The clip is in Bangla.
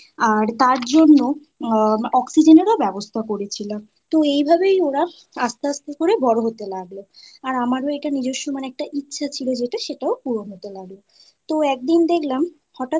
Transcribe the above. আর তার জন্য oxygen এর ব্যবস্থা করেছিল তো এইভাবেই ওরা আস্তে আস্তে করে বড় হতে লাগলো আর আমারও এটা নিজস্ব মানে একটা ইচ্ছে ছিল যেটা সেটাও পূরণ হতে লাগল। তো একদিন দেখলাম হঠাৎ করে